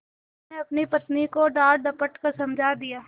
उन्होंने अपनी पत्नी को डाँटडपट कर समझा दिया